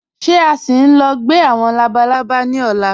Ṣé à sì ń lọ̀ gbẹ̀ awọn labàlábà ni ọ̀lá?